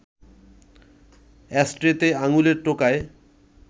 অ্যাশট্রেতে আঙুলের টোকায়